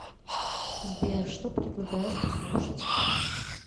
сбер что предлагаешь послушать